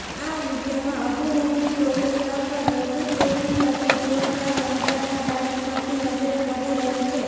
આ વીડિયોમાં અભિનેત્રી કોરિયાગ્રાફર રજિત દેવની સાથે જોરદાર અંદાજમાં ડાન્સ કરતી નજરે પડી રહી છે